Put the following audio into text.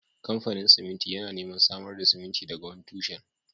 Kamfanin siminti yana neman samar da siminti daga wani tushen